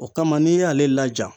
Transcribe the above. O kama n'i y'ale laja